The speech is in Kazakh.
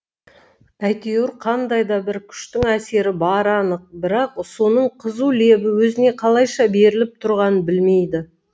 әйтеуір қандай да бір күштің әсері бары анық бірақ соның қызу лебі өзіне қалайша беріліп тұрғанын білмейді